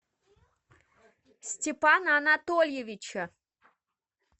степана анатольевича